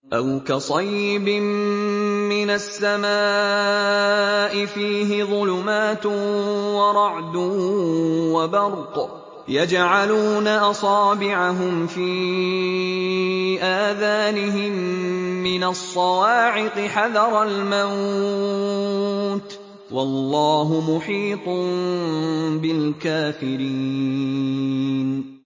أَوْ كَصَيِّبٍ مِّنَ السَّمَاءِ فِيهِ ظُلُمَاتٌ وَرَعْدٌ وَبَرْقٌ يَجْعَلُونَ أَصَابِعَهُمْ فِي آذَانِهِم مِّنَ الصَّوَاعِقِ حَذَرَ الْمَوْتِ ۚ وَاللَّهُ مُحِيطٌ بِالْكَافِرِينَ